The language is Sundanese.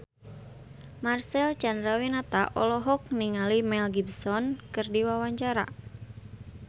Marcel Chandrawinata olohok ningali Mel Gibson keur diwawancara